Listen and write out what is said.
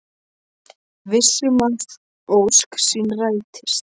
Viss um að ósk sín rætist.